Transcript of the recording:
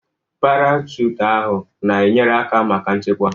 Parachute ahụ n'enyere aka maka nchekwa.